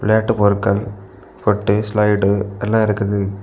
விளையாட்டுப் பொருட்கள் பொட்டு ஸ்லைடு எல்லாம் இருக்குது.